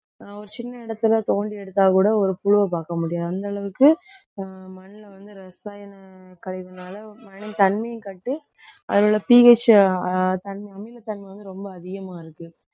ஒரு சின்ன இடத்தில தோண்டி எடுத்தாக்கூட ஒரு புழுவை பார்க்க முடியாது. அந்த அளவுக்கு ஆஹ் மண்ணுல வந்து ரசாயன கழிவுனால தண்ணியும் கட்டி அதில உள்ள pH தன்மை அமிலத்தன்மை வந்து ரொம்ப அதிகமா இருக்கு